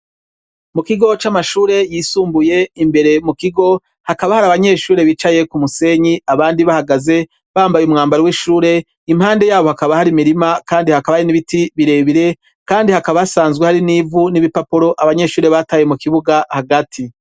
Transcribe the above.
Mu kigo c'amashure yisumbuye imbere mu kigo hakaba hari abanyeshuri bicaye ku musenyi abandi bahagaze bambaye umwambari w'ishure impande yabo hakaba hari imirima, kandi hakaba ari n'ibiti birebire, kandi hakaba asanzwe hari n'ivu n'ibipapuro abanyeshure bataye mu kibuga hagati.